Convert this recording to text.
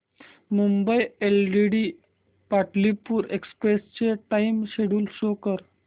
Mumbai LTT Pataliputra express चे time schedule show कर